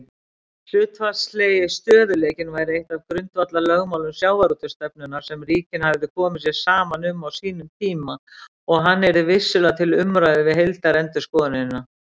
Hlutfallslegi stöðugleikinn væri eitt af grundvallarlögmálum sjávarútvegsstefnunnar sem ríkin hefðu komið sér saman um á sínum tíma og hann yrði vissulega til umræðu við heildarendurskoðunina.